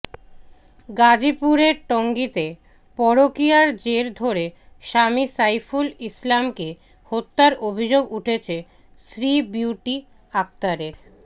গাজীপুরের টঙ্গীতে পরকীয়ার জের ধরে স্বামী সাইফুল ইসলামকে হত্যার অভিযোগ উঠেছে স্ত্রী বিউটি আক্তারের